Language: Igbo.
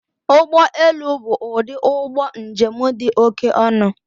Ụgbọ elu bụ ụdị ụgbọ njem dị oké ọnụ